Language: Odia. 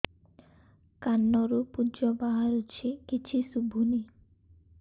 କାନରୁ ପୂଜ ବାହାରୁଛି କିଛି ଶୁଭୁନି